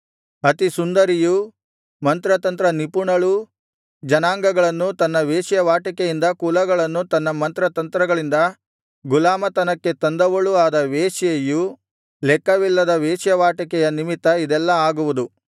ಅತಿಸುಂದರಿಯೂ ಮಂತ್ರತಂತ್ರ ನಿಪುಣಳೂ ಜನಾಂಗಗಳನ್ನು ತನ್ನ ವೇಶ್ಯಾವಾಟಿಕೆಯಿಂದ ಕುಲಗಳನ್ನು ತನ್ನ ಮಂತ್ರತಂತ್ರಗಳಿಂದ ಗುಲಾಮತನಕ್ಕೆ ತಂದವಳೂ ಆದ ವೇಶ್ಯೆಯು ಲೆಕ್ಕವಿಲ್ಲದ ವೇಶ್ಯಾವಾಟಿಕೆಯ ನಿಮಿತ್ತ ಇದೆಲ್ಲಾ ಆಗುವುದು